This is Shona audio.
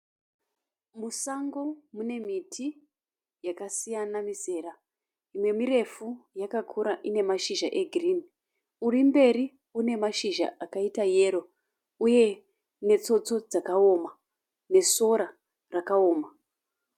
Musango mune miti yakasiyana mizera. mimwe mirefu yakakura ine mashizha eghirini. uri mberi une mashizha akaita yero uye netsotso dzakaoma nesora rakaoma.